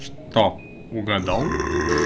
что угадал